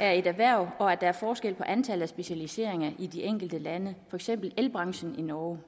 af et erhverv og at der er forskel på antallet af specialiseringer i de enkelte lande eksempel elbranchen i norge